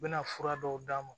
U bɛna fura dɔw d'a ma